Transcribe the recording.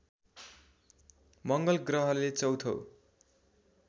मङ्गल ग्रहले चौथो